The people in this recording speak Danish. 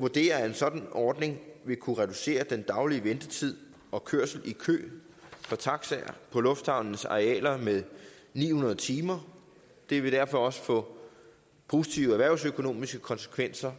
vurderer at en sådan ordning vil kunne reducere den daglige ventetid og kørsel i kø for taxaer på lufthavnenes arealer med ni hundrede timer det vil derfor også få positive erhvervsøkonomiske konsekvenser